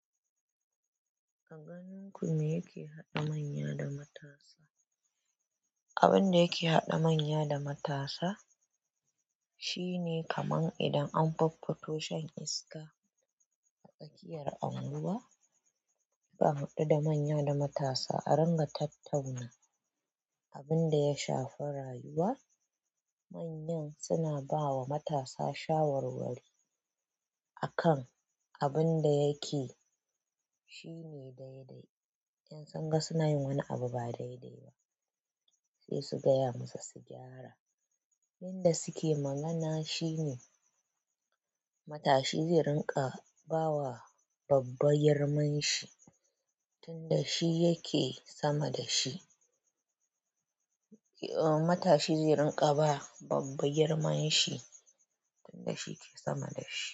A ganin ku me yake haɗa manya da matasa? Abin da yake haɗa manya da matasa shine kaman idan an faffato shan iska a tsakiyar unguwa, zaa haɗu da manya da matasa a ringa tattauna. Abin da ya shafi rayuwa, manyan suna bawa matasa shawarwari a kan abin da yake shine daidai. In sun ga suna yin wani abu ba daidai ba sai su gaya musu su gyara. Inda suke magana shine matashi zai rinƙa ba wa babba girman shi tunda shi yake sama da shi. Matashi zai rinƙa ba babba girman shi tunda shi yake sama da shi.